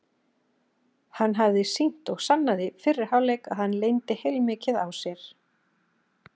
Hann hafði sýnt og sannað í fyrri hálfleik að hann leyndi heilmikið á sér.